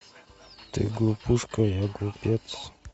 ты глупышка я глупец